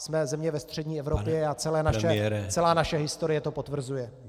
Jsme země ve střední Evropě a celá naše historie to potvrzuje.